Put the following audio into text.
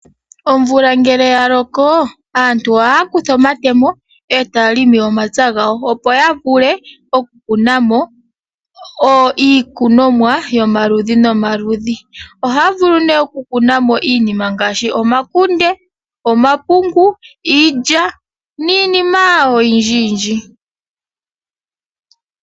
Omvula ngele ya loko aantu ohaya kutha omatemo e taya limi omapya gawo, opo ya vule okukuna mo iikunomwa yomaludhi nomaludhi. Ohaya vulu nduno okukuna mo iikunomwa ngaashi omakunde, omapungu, iilya niinima oyindjiyindji.